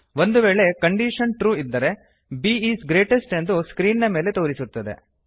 ಒಂದು ವೇಳೆ condition true ಇದ್ದರೆ b ಈಸ್ ಗ್ರೇಟೆಸ್ಟ್ ಎಂದು ಸ್ಕ್ರೀನ್ ನ ಮೇಲೆ ತೋರಿಸುತ್ತದೆ